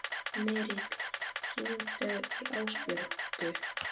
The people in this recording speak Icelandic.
Smyrill, hringdu í Ásbjörgu.